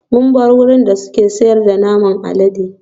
Mun bar wurin da suke sayar da naman alade